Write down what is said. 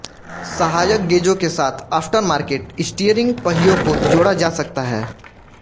सहायक गेजों के साथ आफ्टरमार्केट स्टीयरिंग पहियों को जोड़ा जा सकता है